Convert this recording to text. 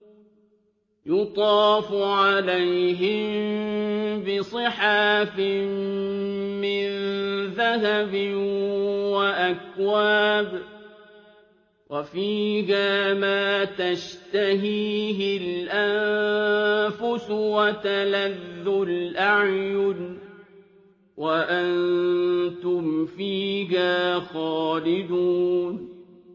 يُطَافُ عَلَيْهِم بِصِحَافٍ مِّن ذَهَبٍ وَأَكْوَابٍ ۖ وَفِيهَا مَا تَشْتَهِيهِ الْأَنفُسُ وَتَلَذُّ الْأَعْيُنُ ۖ وَأَنتُمْ فِيهَا خَالِدُونَ